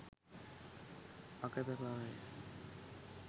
අකැප බවය.